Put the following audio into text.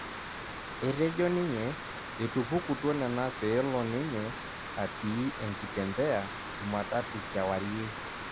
Etejo ninye etupukutuo nena peelo ninye atii enkitembeya jumatatu kewarie